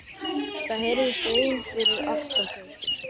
Það heyrðist vein fyrir aftan þau.